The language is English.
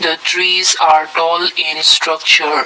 the trees are tall in a structure.